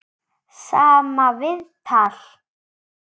Sama viðtal.